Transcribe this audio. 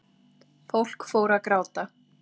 Fólk fór að gráta